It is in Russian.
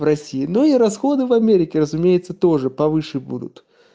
в россии но и расходы в америке разумеется тоже повыше будут